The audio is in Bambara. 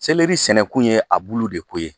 sɛnɛkun ye a bulu de ko ye.